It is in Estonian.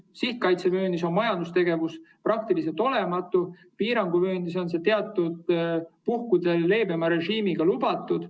Sihtkaitsevööndis on majandustegevus praktiliselt olematu, piiranguvööndis on see teatud puhkudel leebema režiimiga lubatud.